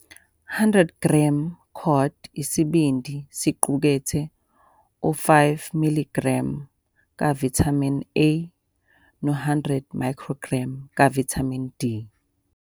100 g cod isibindi siqukethe u-5 mg kavithamini A no-100 µg kavithamini D.